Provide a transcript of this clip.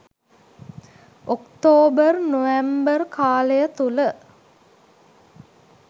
October November කාලය තුළ